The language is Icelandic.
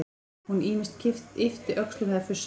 Hún ýmist yppti öxlum eða fussaði.